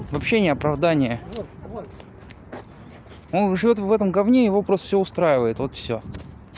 это вообще не оправдание он живёт в этом говне и его просто все устраивает вот все